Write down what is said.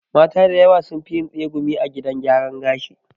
Mata da yawa sunfi yin tsegumi a gidan gyaran gashi